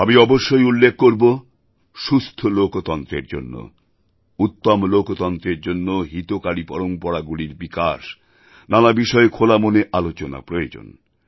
আমি অবশ্যই উল্লেখ করব সুস্থ লোকতন্ত্রের জন্য উত্তম লোকতন্ত্রের জন্য হিতকারী পরম্পরাগুলির বিকাশ নানা বিষয়ে খোলামনে আলোচনা প্রয়োজন